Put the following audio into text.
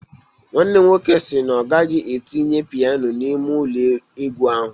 Nwanne m nwoke si na ọ ga-etinye piano n'ime ụlọ egwu ahụ